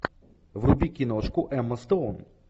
вруби киношку эмма стоун